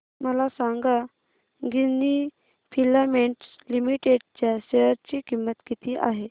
मला सांगा Ginni filaments limited च्या शेअर ची किंमत किती आहे